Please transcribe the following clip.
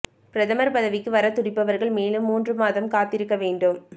பிரதமர் பதவிக்கு வரத் துடிப்பவர்கள் மேலும் மூன்று மாதம் காத்திருக்க வேண்டும்